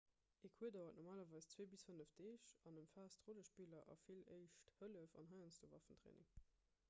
e cours dauert normalerweis 2 - 5 deeg an ëmfaasst rollespiller a vill éischt hëllef an heiansdo waffentraining